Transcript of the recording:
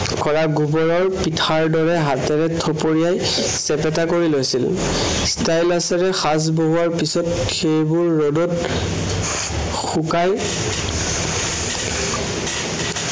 কৰা গোবৰৰ পিঠাৰ দৰে হাতেৰে ঠপৰিয়াই চেপেটা কৰি লৈছিল। stulas এৰে সাজ বহোৱাৰ পিছত এইবোৰ ৰদত শুকাই